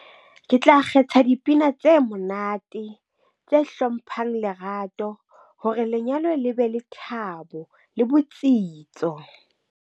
Ke tla kgetha dipina tse monate tse hlomphang lerato hore lenyalo le be le thabo le botsitso.